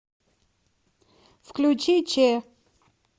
включи че